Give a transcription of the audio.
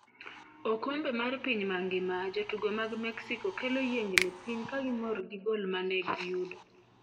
Okombe mar piny mangima: Jotugo mag Mexico kelo yiengni piny ka gimor gi gol ma ne giyudo?